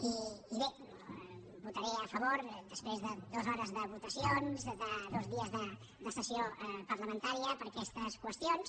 i bé hi votaré a favor després de dues hores de votacions de dos dies de sessió parlamentària per aquestes qüestions